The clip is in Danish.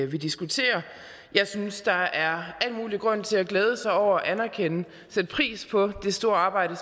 vi diskuterer jeg synes der er al mulig grund til at glæde sig over og anerkende og sætte pris på det store arbejde